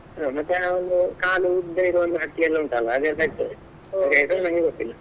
ಮತ್ತೆ ಒಂದು ಕಾಲು ಉದ್ದ ಒಂದು ಹಕ್ಕಿ ಎಲ್ಲ ಉಂಟಲ್ಲ ಅದೆಲ್ಲ ಇರ್ತದೆ ಗೊತ್ತಿಲ್ಲ.